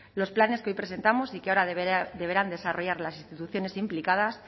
los planes que hoy presentamos y que ahora deberán desarrollar las instituciones implicadas